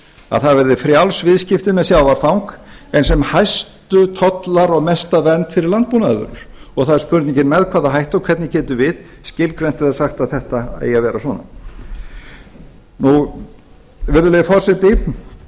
að það verði frjáls viðskipti með sjávarfang en sem hæstu tollar og mesta vernd fyrir landbúnaðarvörur það er spurningin með hvað hætti og hvernig getum við skilgreint eða sagt að þetta eigi að vera svona virðulegi forseti